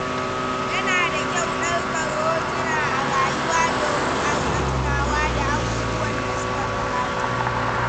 Yana da kyau ɗaukar hotuna a rayuwa domin a riƙa tunawa da abubuwan da suka gabata.